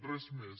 res més